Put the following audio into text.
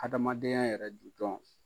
Adamadenya yɛrɛ jujɔn